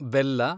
ಬೆಲ್ಲ